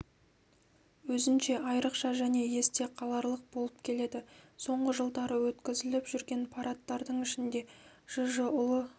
өзінше айрықша және есте қаларлық болып келеді соңғы жылдары өткізіліп жүрген парадтардың ішінде жж ұлы